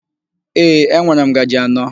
Ee, enwere m ngaji anọ.